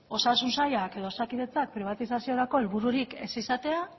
osasun sailak edo osakidetzak pribatizaziorako helbururik ez izatea